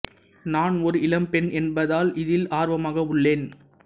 நான் ஒரு இளம் பெண் என்பதால் இதில் ஆர்வமாக உள்ளேன்